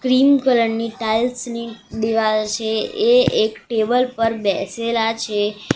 Cream colour ની tiles ની દીવાલ છે એ એક ટેબલ પર બેસેલા છે.